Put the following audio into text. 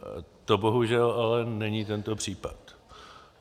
To bohužel ale není tento případ.